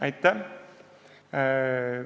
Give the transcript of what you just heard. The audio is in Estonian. Aitäh!